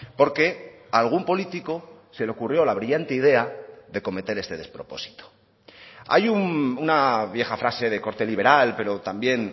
porque a algún político se le ocurrió la brillante idea de cometer este despropósito hay una vieja frase de corte liberal pero también